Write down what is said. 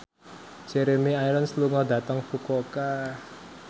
Jeremy Irons lunga dhateng Fukuoka